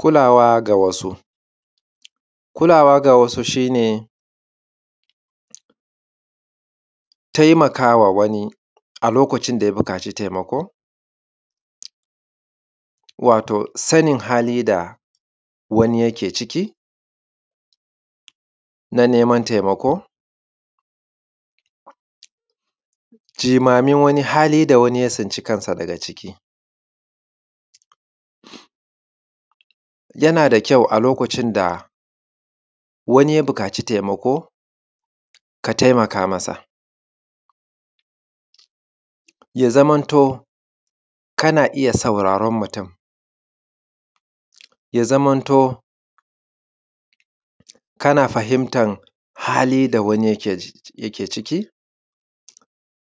Kulawa ga wasu. Kulawa ga wasu shine taimakawa wani a lokacin da yabukaci taimako wato sanin hali da wani yake ciki na naiman taimako, jimamin wani hali da wanin tsnci kansa daga ciki, yanada kyau a lokacin da wani ya buƙaci taimako ka taimaka masa, ya zamanto kana iyya sauraren mutun, ya zamanti kana fahimtan mutun, ya zamanto kana fahimtan hali da wani yake ciki,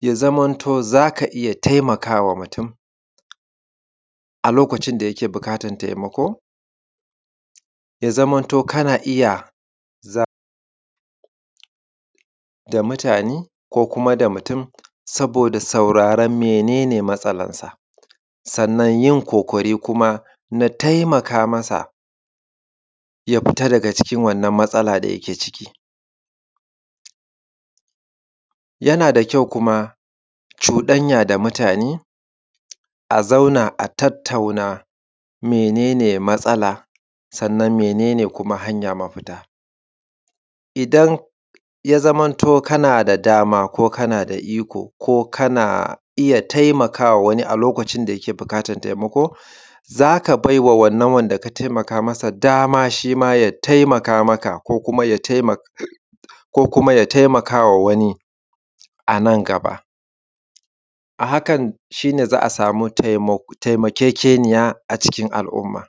ya zamanto zaka iyya taimaka mutun a lokacin da yake buƙatan taimako. Ya zamanto kana iyya zama da mutane ko kuma mutun saboda sauraron mene ne matsalansa sannan yin ƙoƙari kuma na taimaka masa ya fita daga wannan hali da ye ciki, yanada kyau kuma cuɗanya da mutane a zauna a tattatuna mene ne matsala kuma mene ne mafita. Idan ya zamanto ko kana iyya taimakawa wani a lokacin da yake buƙatan taimako zaka bawa wanan wanda ka taimakawa dama ya taimaka maka ko kuma ya taimakawa wani anan gaba a hakan shine za’a sami taimakekeniya a ciki al’umma.